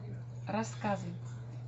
рассказы